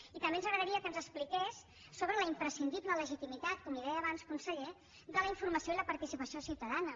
i també ens agradaria que ens expliqués sobre la imprescindible legitimitat com li deia abans conseller de la informació i la participació ciutadana